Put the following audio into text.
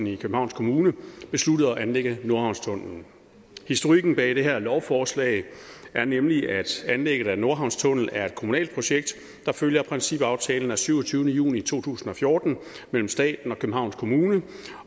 i københavns kommune besluttet at anlægge nordhavnstunnellen historikken bag det her lovforslag er nemlig at anlægget af en nordhavnstunnel er et kommunalt projekt der følger principaftalen af syvogtyvende juni to tusind og fjorten mellem staten og københavns kommune